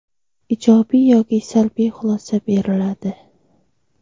ijobiy yoki salbiy xulosa beriladi.